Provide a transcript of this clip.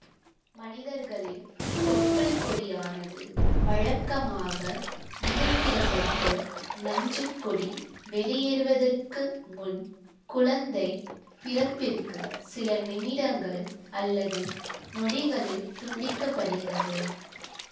மனிதர்களில் தொப்புள்கொடியானது வழக்கமாக இடுக்கிடப்பட்டு நஞ்சுக்கொடி வெளியேறுவதற்கு முன் குழந்தை பிறப்பிற்கு சில நிமிடங்கள் அல்லது நொடிகளில் துண்டிக்கப்படுகிறது